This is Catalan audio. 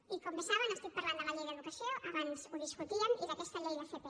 i com bé saben estic parlant de la llei d’educació abans ho discutíem i d’aquesta llei d’fp